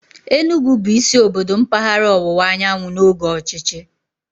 Enugwu bụ isi obodo mpaghara ọwụwa anyanwụ n'oge ọchịchị.